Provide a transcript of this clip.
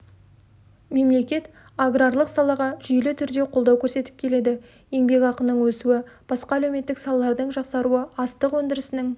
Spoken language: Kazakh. мемлекет аграрлық салаға жүйелі түрде қолдау көрсетіп келеді еңбекақының өсуі басқа әлеуметтік салалардың жақсаруы астық өндірісінің